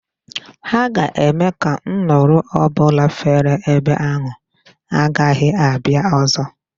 Ha ga-eme ka nduru ọ bụla fere ebe ahụ, agaghị abịa ọzọ.